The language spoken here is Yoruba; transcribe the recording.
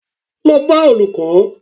Lọ bá Olùkó!